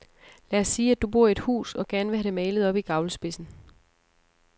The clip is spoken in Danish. Lad os sige, at du bor i et hus og gerne vil have malet oppe i gavlspidsen.